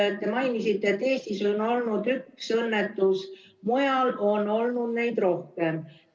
Te mainisite, et Eestis on olnud üks õnnetus, mujal on olnud neid rohkem.